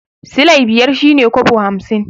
Silai biyar shine kobo hamsin